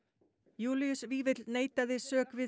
Júlíus Vífill neitaði sök við